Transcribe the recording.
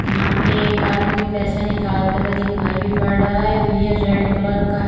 यहां पे एक आदमी पैसा निकालते हुए दिखाई भी पड़ रहा है ये रेड कलर का है।